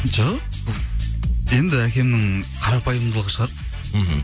жоқ енді әкемнің қарапайымдылығы шығар мхм